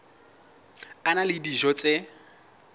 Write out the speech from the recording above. a na le dijo tse